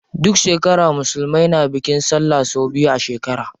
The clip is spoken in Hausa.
Duk shekara musulmai na bikin sallah sau biyu a shekara.